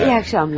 Yaxşı axşamlar.